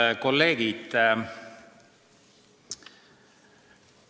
Head kolleegid!